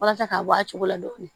Walasa k'a bɔ a cogo la dɔɔnin